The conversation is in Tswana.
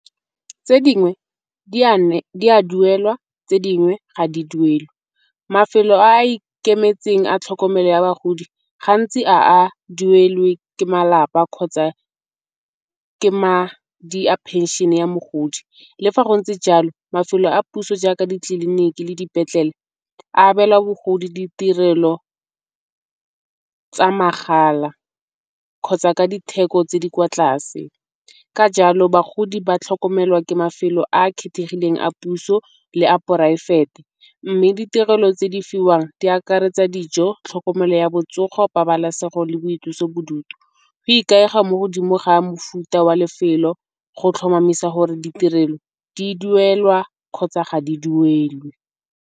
Tse dingwe di a duelwa tse dingwe ga di duelwe. Mafelo a a ikemetseng a tlhokomelo ya bagodi gantsi ga a duelwe ke malapa kgotsa ke madi a phenšene ya mogodi. Le fa go ntse jalo mafelo a puso jaaka ditleliniki le dipetlele a abela bogodi ditirelo tsa mahala kgotsa ka ditheko tse di kwa tlase. Ka jalo bagodi ba tlhokomelwa ke mafelo a a kgethegileng a puso le a poraefete. Mme ditirelo tse di fiwang di akaretsa dijo, tlhokomelo ya botsogo pabalesego le boitlosobodutu. Go ikaega mo godimo ga mofuta wa lefelo go tlhomamisa gore ditirelo di duelwa kgotsa ga di duelwe.